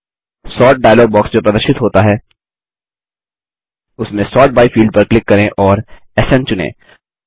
sort dialog box जो प्रदर्शित होता है उसमें सोर्ट बाय फील्ड पर क्लिक करें और स्न चुनें